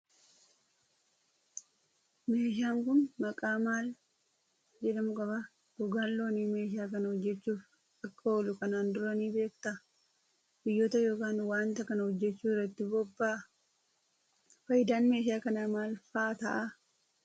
Meeshaan kun maqaa maal jedhamu qaba? Gogaan loonii meeshaa kana hojjechuuf akka oolu kanaan dura ni beektaa? Biyyoota yookiin waanta kana hojjechuu irratti bobba'a? Faayidaan meeshaa kanaa maal faa ta'a?